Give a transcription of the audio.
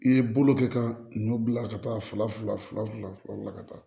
I ye bolo kɛ ka nu bila ka taa fila fila fila fila ka taa